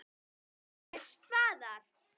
FJÓRIR spaðar.